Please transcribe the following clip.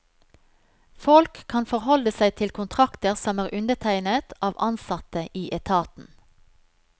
Folk kan forholde seg til kontrakter som er undertegnet av ansatte i etaten.